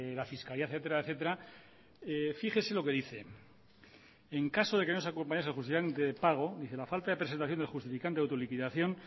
la fiscalidad etcétera etcétera fíjese lo que dice en caso de que no acompañase el justificante de pago dice la falta de presentación del justificante de autoliquidación